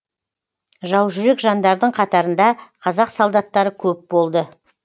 жаужүрек жандардың қатарында қазақ солдаттары көп болды